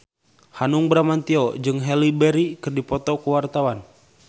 Hanung Bramantyo jeung Halle Berry keur dipoto ku wartawan